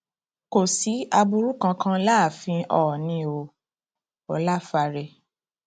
kò sí aburú kankan láàfin oòní o ọláfáre